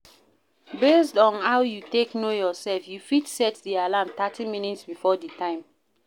Based on how you take know yourself you fit set di alarm 30mins before di time